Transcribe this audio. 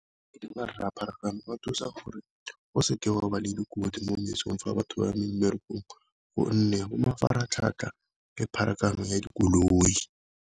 Rra pharakano ba thusa gore o seke wa le dikotsi mo mesong fa batho ba mmerekong, gonne bo mafaratlhatlha le pharakano ya dikoloi.